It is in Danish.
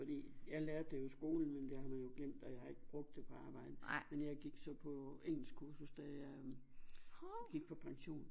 Fordi jeg lærte det jo i skolen men det har man jo glemt og jeg har ikke brugt det på arbejdet men jeg gik så på engelskkursus da jeg gik på pension